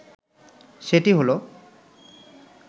সেটি হলো,